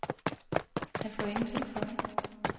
Han får jo ingenting for det.